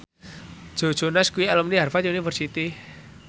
Joe Jonas kuwi alumni Harvard university